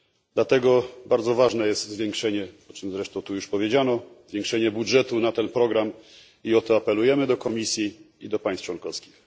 Dlatego bardzo ważne jest zwiększenie, o czym zresztą tu już powiedziano, budżetu na ten program i o to apelujemy do Komisji i do państw członkowskich.